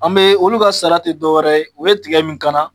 An be olu ka sara te dɔ wɛrɛ ye u ye tigɛ min kana